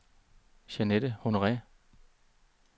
Jeanette Honore